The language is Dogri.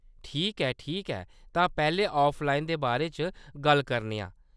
ठीक ऐ, ठीक ऐ, तां पैह्‌‌‌लें ऑफलाइन दे बारे च गल्ल करने आं।